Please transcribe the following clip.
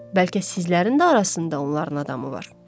Bəlkə sizlərin də arasında onların adamı var.